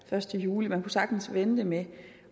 første juli man kunne sagtens vente med